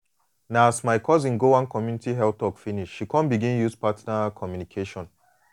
na as my cousin go one community health talk finish she come begin use partner communication